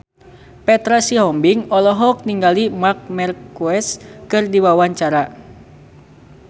Petra Sihombing olohok ningali Marc Marquez keur diwawancara